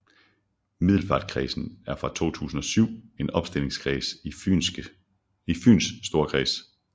Middelfartkredsen er fra 2007 en opstillingskreds i Fyns Storkreds